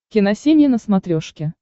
киносемья на смотрешке